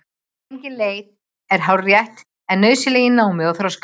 Engin ein leið er hárrétt eða nauðsynleg í námi og þroska.